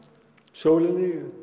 sólin